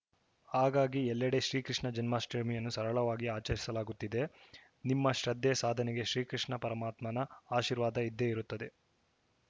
ಹಾಗಾಗಿ ಎಲ್ಲೆಡೆ ಶ್ರೀ ಕೃಷ್ಣ ಜನ್ಮಾಷ್ಟಮಿಯನ್ನು ಸರಳವಾಗಿ ಆಚರಿಸಲಾಗುತ್ತಿದೆ ನಿಮ್ಮ ಶ್ರದ್ಧೆ ಸಾಧನೆಗೆ ಶ್ರೀಕೃಷ್ಣ ಪರಮಾತ್ಮನ ಆಶೀರ್ವಾದ ಇದ್ದೆ ಇರುತ್ತದೆ